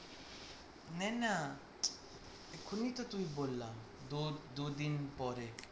নেন না এখনই তো তুই বললাম তোর দু দিন পরে